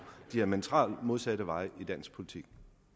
diametralt modsatte veje i dansk politik